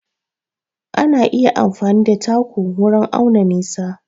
Ana iya amfani da taku wurin auna nisa.